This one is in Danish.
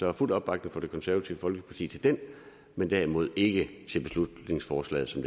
er fuld opbakning fra det konservative folkeparti til den men derimod ikke til beslutningsforslaget som